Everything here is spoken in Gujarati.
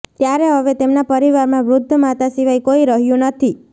ત્યારે હવે તેમના પરિવારમાં વૃધ્ધ માતા સિવાય કોઇ રહ્યુ નથી